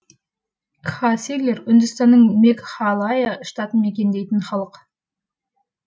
кхасилер үндістанның мегхалая штатын мекендейтін халық